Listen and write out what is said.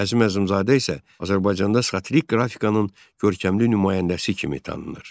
Əzim Əzimzadə isə Azərbaycanda satirik qrafikanın görkəmli nümayəndəsi kimi tanınır.